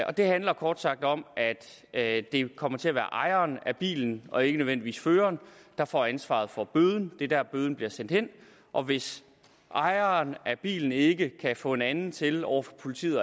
og det handler kort sagt om at det kommer til at være ejeren af bilen og ikke nødvendigvis føreren der får ansvaret for bøden det er der bøden bliver sendt hen og hvis ejeren af bilen ikke kan få en anden til over for politiet